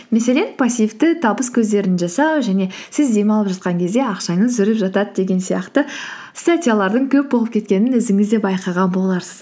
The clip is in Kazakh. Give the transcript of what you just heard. мәселен пассивті табыс көздерін жасау және сіз демалып жатқан кезде ақшаңыз жүріп жатады деген сияқты статьялардың көп болып кеткенін өзіңіз де байқаған боларсыз